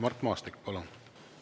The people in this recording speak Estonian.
Mart Maastik, palun!